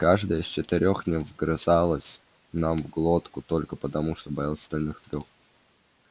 каждое из четырёх не вгрызалось нам в глотку только потому что боялось остальных трёх